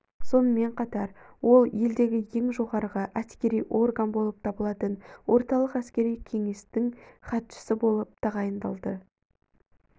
сонымен қатар ол елдегі ең жоғарғы әскери орган болып табылатын орталық әскери кеңестің хатшысы болып тағайындалды